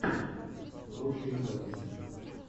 лучшие записи